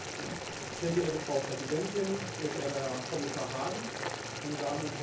Sehr geehrte Frau Präsidentin, sehr geehrter Herr Kommissar Hahn, meine Damen und Herren!